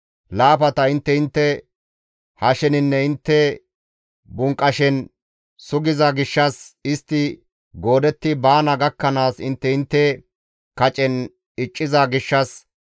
Laafata intte intte hasheninne intte bunqashen sugiza gishshas, istti goodetti baana gakkanaas intte intte kacen icciza gishshas,